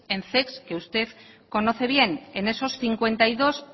en zec que usted conoce bien en esos cincuenta y dos